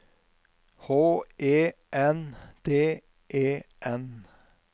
H E N D E N